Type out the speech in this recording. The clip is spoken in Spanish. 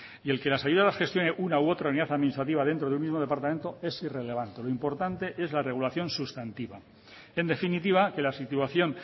y el que las ayudas las gestione una u otra unidad administrativa dentro de un mismo departamento es irrelevante lo importante es la regulación sustantiva en definitiva que la situación